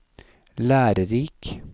lærerik